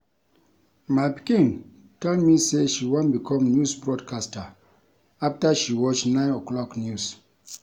My pikin tell me say she wan become news broadcaster after she watch 9 o'clock news